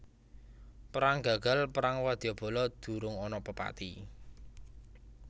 Perang gagal perang wadyabala durung ana pepati